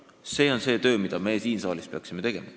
See on see töö, mida me siin saalis peaksime tegema.